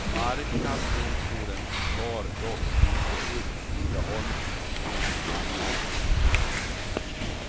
Marknadsdomstolen tar dock inte upp tidaholmsbons anmälan.